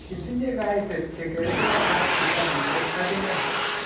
Kitinye kaitet che kargei aab kitabushek ak inne